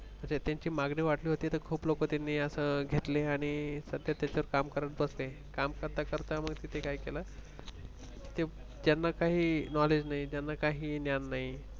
त्यांचि मागणी वाढली होती तर खूप लोक त्यांनी असं घेतले आणि सध्या त्याच्यात काम करत बसले आणि मग काय झालं काम करता करता मग त्यांनी काय केलं ज्यांना काही knowledge नाही काही ज्ञान नाही